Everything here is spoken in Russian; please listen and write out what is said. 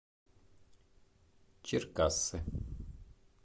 черкассы